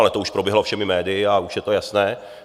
Ale to už proběhlo všemi médii a už je to jasné.